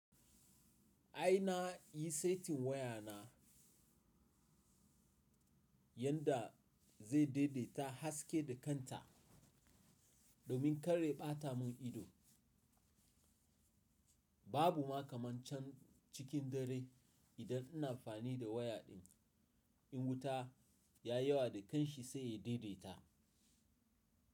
Ai na yi saitin waya na yanda zai daidaita haske da kanta domin kar ya ɓata mun ido. Babu ma kamancin cikin dare idan ina amfani da waya din. In wuta ya yawa da kanshi sai ya daidaita.